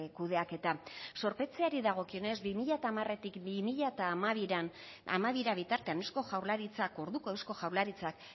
kudeaketa zorpetzeari dagokionez bi mila hamaretik bi mila hamabira bitartean eusko jaurlaritzak orduko eusko jaurlaritza